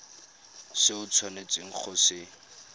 se o tshwanetseng go se